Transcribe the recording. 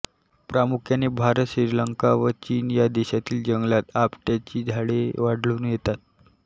प्रामुख्याने भारत श्रीलंका व चीन या देशांतील जंगलात आपट्याची झाडे आढळून येतात